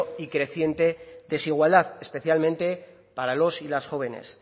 y creciente desigualdad especialmente para los y las jóvenes